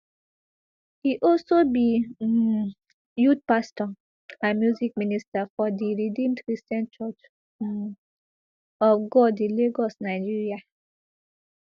e also be um youth pastor and music minister for di redeemed christian church um of god in lagos nigeria